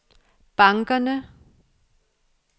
bankerne